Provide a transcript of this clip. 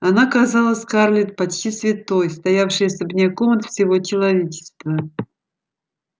она казалась скарлетт почти святой стоявшей особняком от всего человечества